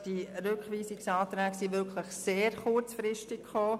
Diese Rückweisungsanträge kamen sehr kurzfristig.